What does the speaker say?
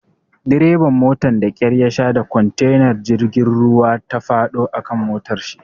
Dreban motan da kyar yasha da kontenar jirgin ruwa ta faɗo a kan motarshi.